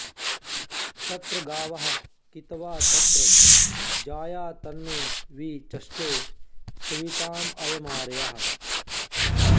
तत्र॒ गावः॑ कितव॒ तत्र॑ जा॒या तन्मे॒ वि च॑ष्टे सवि॒तायम॒र्यः